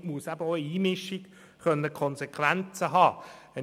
Somit muss eben auch eine Einmischung Konsequenzen haben können.